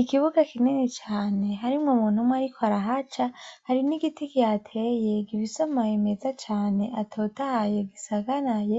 Ikibuga kinini cane harimwo umuntu umwe ariko arahaca. Hari n'igiti kihateye gifise amababi meza cane atotahaye gisagaraye.